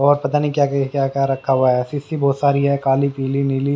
और पता नहीं क्या क्या रखा हुआ है सीसी बहुत सारी है काली पीली नीली।